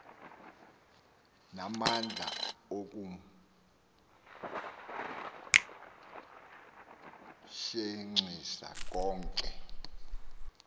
namandla okumjenxisa konke